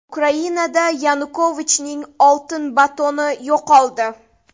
Ukrainada Yanukovichning oltin batoni yo‘qoldi.